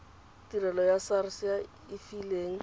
tirelo ya sars ya efiling